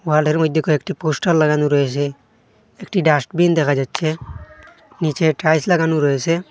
হল -এর মইদ্যে কয়েকটি পোস্টার লাগানো রয়েসে একটি ডাস্টবিন দেখা যাচ্ছে নীচে টাইলস লাগানো রয়েসে।